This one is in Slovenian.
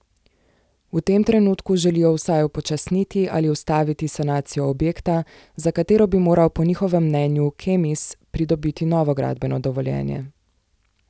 V tem trenutku želijo vsaj upočasniti ali ustaviti sanacijo objekta, za katero bi moral po njihovem mnenju Kemis pridobiti novo gradbeno dovoljenje.